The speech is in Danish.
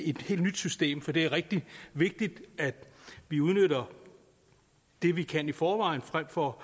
helt nyt system for det er rigtig vigtigt at vi udnytter det vi kan i forvejen frem for